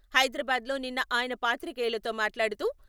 హైదరాబాద్లో నిన్న ఆయన పాత్రికేయులతో మాట్లాడుతూ...